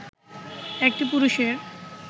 একটি পুরুষের